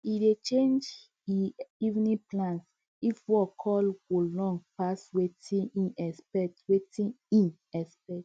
he dey change e evening plans if work call go long pass watin e expect watin e expect